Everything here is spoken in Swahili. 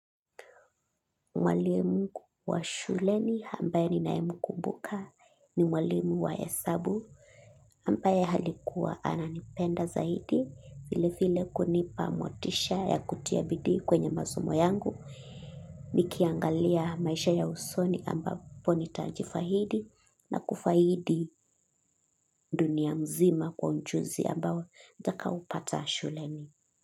Mwalimu wa shuleni ambaye ninayemkumbuka ni mwalimu wa hesabu ambaye alikuwa ananipenda zaidi vile vile kunipa motisha ya kutia bidii kwenye masomo yangu. Nikiangalia maisha ya usoni l ambapo nitajifaidi na kufaidi dunia nzima kwa ujuzi nitakaopata shuleni.